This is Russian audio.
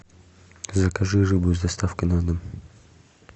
закажи рыбу с доставкой на дом